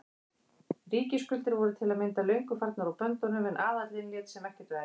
Ríkisskuldir voru til að mynda löngu farnar úr böndunum en aðallinn lét sem ekkert væri.